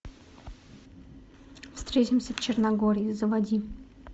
встретимся в черногории заводи